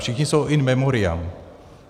Všichni jsou in memoriam.